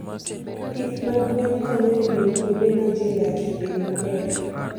Pith mag gwen konyo e miyo kuonde ma ji odakie obed maber.